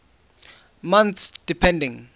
months depending